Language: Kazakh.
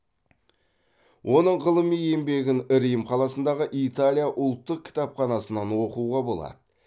оның ғылыми еңбегін рим қаласындағы италия ұлттық кітапханасынан оқуға болады